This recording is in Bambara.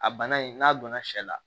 A bana in n'a donna sɛ la